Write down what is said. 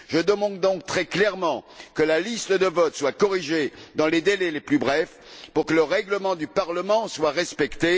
Je demande donc très clairement que la liste des votes soit corrigée dans les délais les plus brefs pour que le règlement du Parlement soit respecté.